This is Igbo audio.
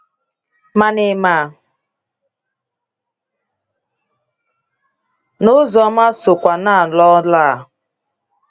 Mana ị mà nà Uzoma sokwa n'ọlụ a?